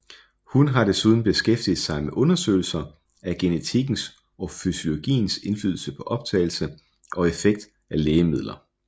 Hun har desuden beskæftiget sig med undersøgelser af genetikkens of fysiologiens indflydelse på optagelse og effekt af lægemidler